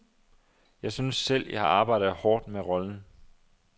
Jeg synes selv, jeg har arbejdet hårdt med rollen.